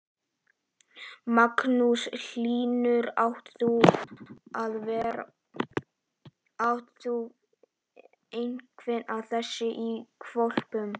Magnús Hlynur: Átt þú einhvern af þessum hvolpum?